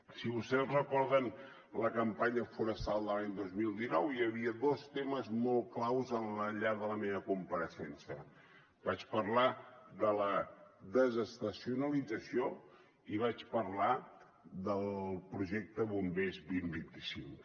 si vostès recorden la campanya forestal de l’any dos mil dinou hi havia dos temes molt claus al llarg de la meva compareixença vaig parlar de la desestacionalització i vaig parlar del projecte bombers dos mil vint cinc